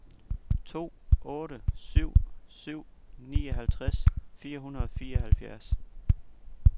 to otte syv syv nioghalvtreds fire hundrede og fireoghalvfjerds